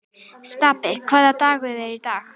Stapi, hvaða dagur er í dag?